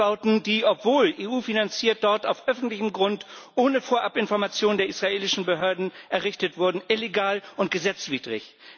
Alles Bauten, die, obwohl von der EU finanziert, dort auf öffentlichem Grund, ohne Vorabinformation der israelischen Behörden, errichtet wurden illegal und gesetzwidrig.